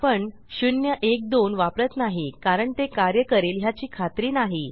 आपण 012 वापरत नाही कारण ते कार्य करेल ह्याची खात्री नाही